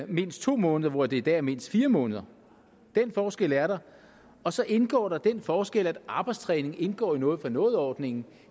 mindst to måneder hvor det i dag er mindst fire måneder den forskel er der og så indgår der den forskel at arbejdstræning indgår i noget for noget ordningen